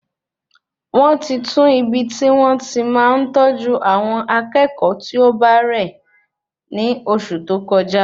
Wọn ti tun ibi ti won ti máa n tọju awọn akékòó ti ọ bá rẹ ni oṣù tó kọjá